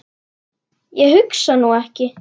Ég hugsa nú ekki.